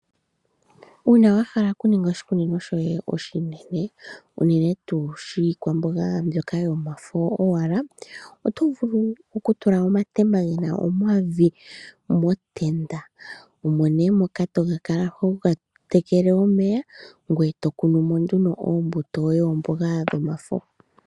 Uuna wahala okuninga oshikunino shoye oshinene unene tuu shiikwamboga mboka yomafo gowala otovulu okutula omatemba gena omavi motenda mo omo nee moka tokala oho tekele omeya ngweye tokunumo nduno omboga yo ye yamafo